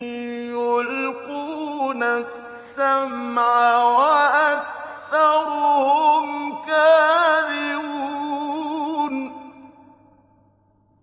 يُلْقُونَ السَّمْعَ وَأَكْثَرُهُمْ كَاذِبُونَ